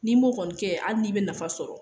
N'i m'o kɔni kɛ , hali n'i be nafa sɔrɔ